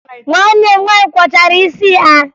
Nwanne m nwaanyị kwọchara isi ya